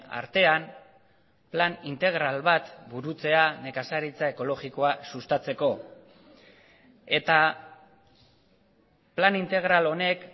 artean plan integral bat burutzea nekazaritza ekologikoa sustatzeko eta plan integral honek